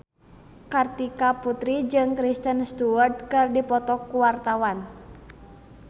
Kartika Putri jeung Kristen Stewart keur dipoto ku wartawan